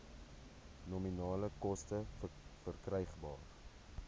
nominale koste verkrygbaar